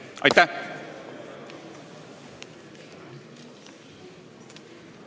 Aitäh!